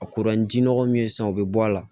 A kuru ni ji nɔgɔ min ye sisan o bɛ bɔ a la